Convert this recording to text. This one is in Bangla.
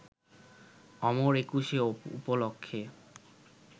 অমর একুশে উপলক্ষে